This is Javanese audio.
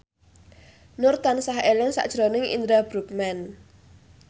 Nur tansah eling sakjroning Indra Bruggman